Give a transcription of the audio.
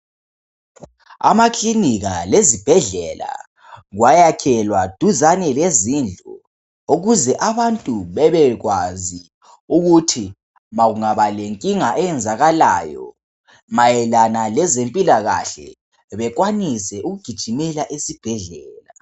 Amakilinika lezibhedlela kwayakhelwa duzane lezindlu ukuze abantu bebekwazi ukuthi ma kungaba lenkinga eyenzakalayo mayelana lezempilakahle bekwanise ukugijimela esibhedlela.